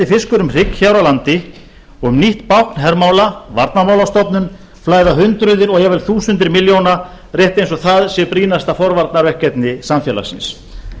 fiskur um hrygg hér á landi og í nýtt bákn hermála varnarmálastofnun flæða hundruð eða jafnvel þúsundir milljóna rétt eins og það sé brýnasta forvarnaverkefni samfélagsins